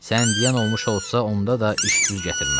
Sən deyən olmuş olsa, onda da iş düz gətirməz.